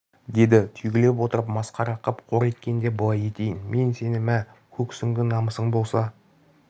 деді түйгілеп отырып масқара қып қор еткенде былай етейін мен сені мә көк сүңгі намысың болса